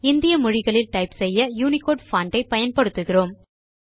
இந்திய மொழிகளில் டைப் செய்ய யூனிகோடு பான்ட் ஐ பயன்படுத்துகிறோம்